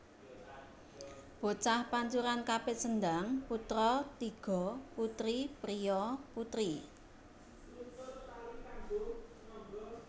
Bocah pancuran kapit sendhang putra tiga putri priya putri